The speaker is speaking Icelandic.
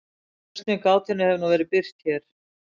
Lausn við gátunni hefur nú verið birt hér.